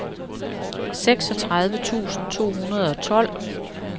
seksogtredive tusind to hundrede og tolv